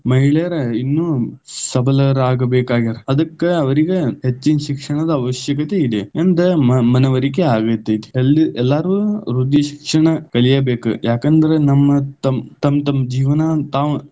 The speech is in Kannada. ಮಹಿಳೆಯರ ಇನ್ನೂ ಸಬಲರಾಗಬೇಕಾಗ್ಯಾರ ಅದಕ್ಕ ಅವರಿಗ ಹೆಚ್ಚಿನ ಶಿಕ್ಷಣದ ಅವಶ್ಯಕತೆ ಇದೆ ಎಂದ ಮ~ ಮನವರಿಕೆ ಆಗತೈತಿ, ಎಲ್ಲ~ ಎಲ್ಲಾರೂ ವೃದ್ಧಿ ಶಿಕ್ಷಣ ಕಲಿಯಬೇಕ, ಯಾಕಂದ್ರ ನಮ್ಮ ತಮ್ಮ ತಮ್ಮ ಜೀವನ ತಾವು.